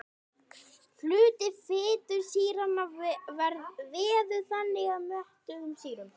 Hluti fitusýranna veður þannig að mettuðum sýrum.